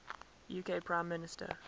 uk prime minister